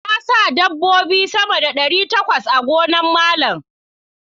Na sa dabbobi sama da ɗari takwas a gonan Malama.